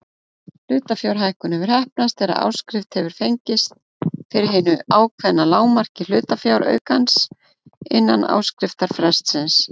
Hlutafjárhækkun hefur heppnast þegar áskrift hefur fengist fyrir hinu ákveðna lágmarki hlutafjáraukans innan áskriftarfrestsins.